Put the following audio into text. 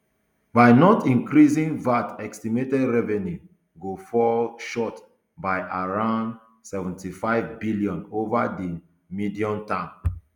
by not increasing vat estimated revenue go fall short by around seventy-five billion ova di mediumterm